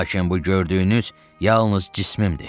Lakin bu gördüyünüz yalnız cisimimdir.